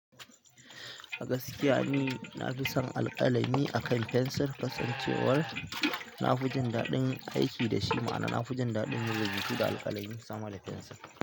A gaskiya ni nafisan alƙalami akan pensil, kasan cewar nafisan aiki dashi, ma'ana nafijin daɗin rubutu da alƙalami akan pensil.